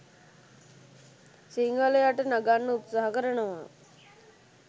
සිංහලයට නගන්න උත්සහ කරනවා